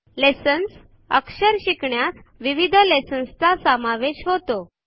lessons - अक्षर शिकण्यास विविध लेसन्स चा समावेश होतो